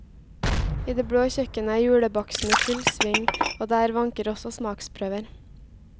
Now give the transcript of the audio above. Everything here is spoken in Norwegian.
I det blå kjøkkenet er julebaksten i full sving, og der vanker det også smaksprøver.